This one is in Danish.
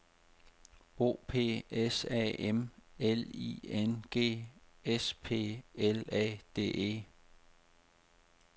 O P S A M L I N G S P L A D E